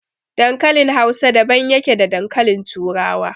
Dankalin Hausa daban yake da dankalin Turawa.